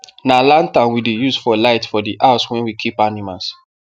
na lantern we dey use for light for the house wen we keep animals